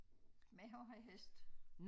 Men jeg har også hest